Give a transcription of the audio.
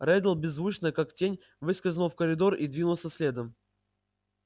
реддл беззвучно как тень выскользнул в коридор и двинулся следом